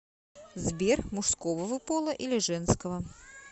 сбер мужского вы пола или женского